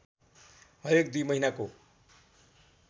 हरेक दुई महिनाको